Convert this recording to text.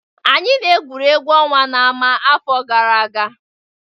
Anyị na-egwuri egwu ọnwa na ámà afọ gara aga.